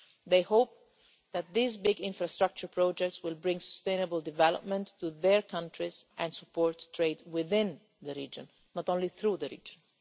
They hope that these big infrastructure projects will bring sustainable development to their countries and support trade within the region, not only through the region.